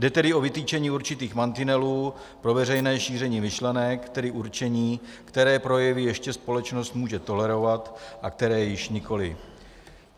Jde tedy o vytyčení určitých mantinelů pro veřejné šíření myšlenek, tedy určení, které projevy ještě společnost může tolerovat a které již nikoliv.